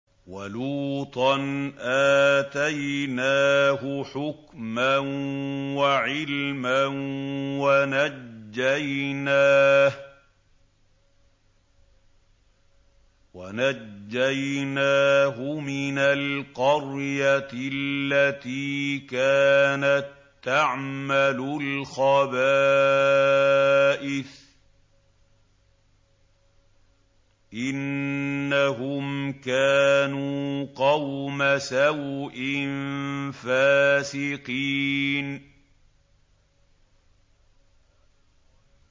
وَلُوطًا آتَيْنَاهُ حُكْمًا وَعِلْمًا وَنَجَّيْنَاهُ مِنَ الْقَرْيَةِ الَّتِي كَانَت تَّعْمَلُ الْخَبَائِثَ ۗ إِنَّهُمْ كَانُوا قَوْمَ سَوْءٍ فَاسِقِينَ